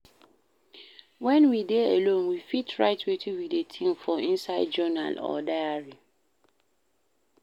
When we dey alone we fit write wetin we dey think for inside journal or diary